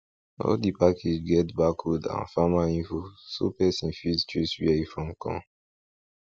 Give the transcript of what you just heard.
all di package get barcode and farmer info so person fit trace where e from come